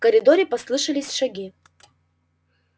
в коридоре послышались шаги